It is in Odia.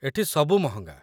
ଏଠି ସବୁ ମହଙ୍ଗା ।